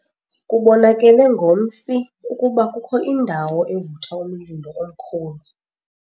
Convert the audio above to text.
Kubonakele ngomsi ukuba kukho indawo evutha umlilo omkhulu.